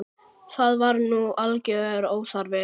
Það var nú algjör óþarfi.